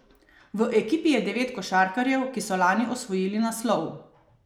V ekipi je devet košarkarjev, ki so lani osvojili naslov.